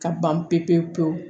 Ka ban pewu pewu pewu